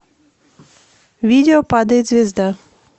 видео падает звезда